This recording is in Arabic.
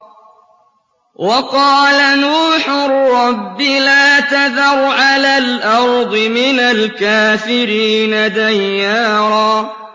وَقَالَ نُوحٌ رَّبِّ لَا تَذَرْ عَلَى الْأَرْضِ مِنَ الْكَافِرِينَ دَيَّارًا